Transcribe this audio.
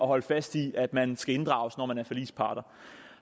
holde fast i at man skal inddrages når man er forligspart